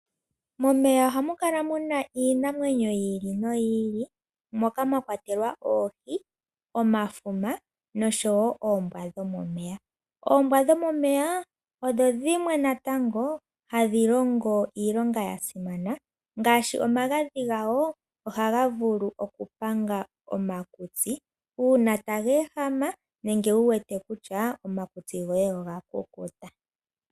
Momeya ohamu kala muna iinamwenyo yi ili noyi ili, moka mwa kwatelwa oohi, omafuma noshowo oombwa dhomomeya. Oombwa dhomomeya odho dhimwe natango hadhi longo iilonga ya simana, ngaashi omagadhi gadho ohaga vulu okupanga omakutsi uuna taga ehama, nenge wu wete kutya omakutsi goye oga kukuta.